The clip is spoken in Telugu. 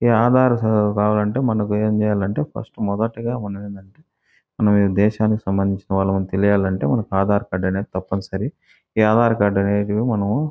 ఇ ఆధార్ సదు కావాలంటే మనకు ఏమిచేయాలంటే ఫస్ట్ మొదటగ ఉన్నదేంతంటే మనం ఇ దేశానికి సమందించినవాలమని తెలియాలంటే మనకు ఆధార్ కార్డు అనేది తప్పనిసరి ఇ ఆధార్ కార్డు అనేది మనము --